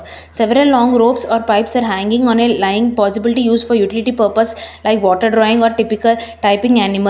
several long ropes or pipes are hanging on a line possible to use for utility purpose like water drawing or typical typing animals.